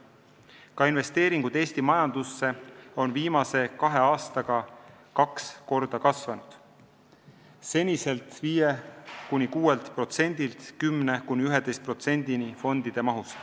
Ka investeeringud Eesti majandusse on viimase kahe aastaga kaks korda kasvanud: senisest 5–6%-st 10–11%-ni fondide mahust.